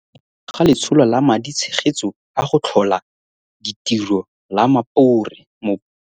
Go thankgololwa ga Letsholo la Madi tshegetso a go Tlhola Ditiro la Mopore.